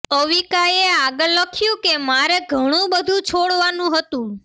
અવિકાએ આગળ લખ્યુ કે મારે ઘણુ બધુ છોડવાનુ હતુ